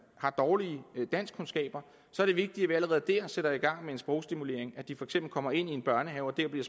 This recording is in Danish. har dårlige danskkundskaber er det vigtigt at vi allerede der sætter i gang med en sprogstimulering og at de for eksempel kommer ind i en børnehave og der bliver